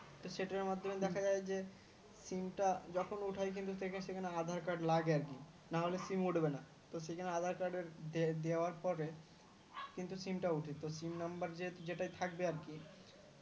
সেটার মাধ্যমে দেখা যায় যে Sim টা যখন উঠায় কিন্তু সেখানে aadhar card লাগে আর কি নাহলে sim উঠবে না তো সেখানে aadhar card এর দেওয়ার পরে কিন্তু sim তা ওঠে ত sim number যেটাই থাকবে আর কি ত